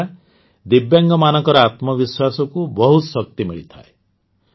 ଏହାଦ୍ୱାରା ଦିବ୍ୟାଙ୍ଗମାନଙ୍କ ଆତ୍ମବିଶ୍ୱାସକୁ ବହୁତ ଶକ୍ତି ମିଳିଥାଏ